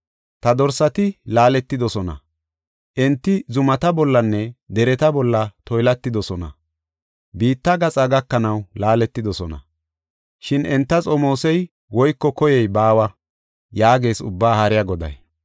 Ta dorsati laaletidosona; enti zumata bollanne dereta bolla toylatidosona. Biitta gaxa gakanaw laaletidosona; shin enta xomoosey woyko koyey baawa” yaagees Ubbaa Haariya Goday.